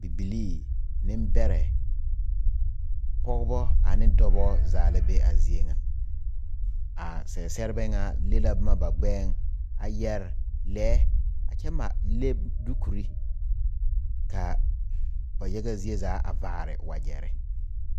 Bibilii nembɛrɛ pɔgeba ane Dɔɔba zaa la be a zie ŋa a seɛseɛbɛ ŋa le la boma ba gbɛɛŋ a yɛrɛ lɛɛ a kyɛ mare le dukuri kaa ba yaga zie zaa a vaare wagyere